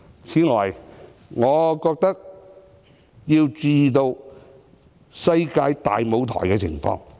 此外，我認為要注意世界大舞台的情況。